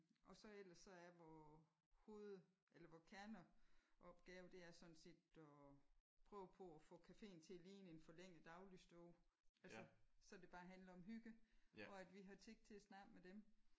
Og så ellers så er vores hoved eller vores kerneopgave det er sådan set at prøve på at få caféen til at ligne en forlænget dagligstue tid. Altså så det bare handler om hygge og at vi har tid til at snakke med dem